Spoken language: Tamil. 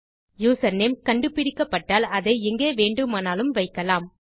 யூசர்நேம் கண்டு பிடிக்கப்பட்டால் அதை எங்கே வேண்டுமானாலும் வைக்கலாம்